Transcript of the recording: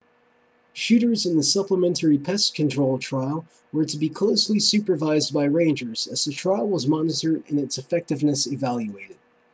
shooters in the supplementary pest control trial were to be closely supervised by rangers as the trial was monitored and its effectiveness evaluated